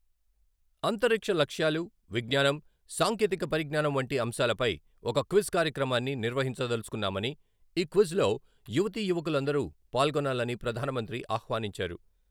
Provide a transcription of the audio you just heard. అంతరిక్ష లక్ష్యాలు, విజ్ఞానం, సాంకేతిక పరిజ్ఞానం వంటి అంశాలపై ఒక క్విజ్ కార్యక్రమాన్ని నిర్వహించదలచుకున్నామని, ఈ క్విజ్ యువతీ యువకులందరూ పాల్గొనాలని ప్రధానమంత్రి ఆహ్వానించారు.